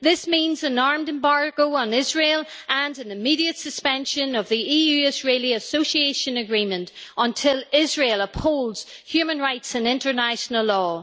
This means an arms embargo on Israel and an immediate suspension of the EU Israel Association Agreement until Israel upholds human rights and international law.